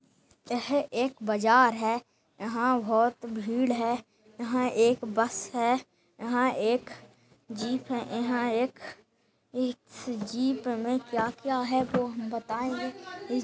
यह एक बाजार है यहाँ बहुत भीड़ है यहाँ एक बस है यहाँ एक जीप है यहाँ एक-- इस जीप मे क्या-क्या है वो हम बताएंगे--